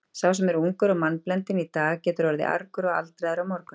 Sá sem er ungur og mannblendinn í dag getur orðið argur og aldraður á morgun.